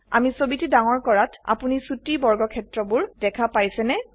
আমি ছবিটি ডাঙৰ কৰাত আপোনি ছোটি বৰ্গক্ষেত্ৰবোৰ দেখা পাইছেনে